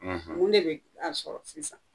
, Mun de bɛ a sɔrɔ sisan?